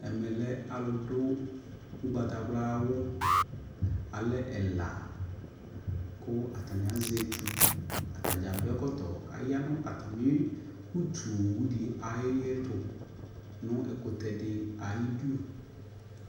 Ɛmɛ lɛ alʋ du ʋgbatawla wʋ, alɛ ɛla kʋ atani azɛ etu Atadza adu ɛkɔtɔ kaya nʋ atami utu owu di ayɛtʋ nʋ ɛkʋtɛ di ayidu